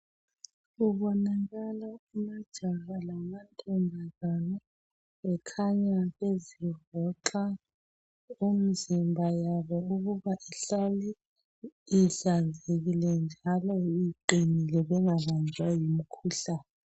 Kubonakala amajaha lamantombazana bekhanya bezivoxa umzimba yabo ukuba ihlale ihlanzekile njalo iqinile bengabanjwa yimikhuhlane.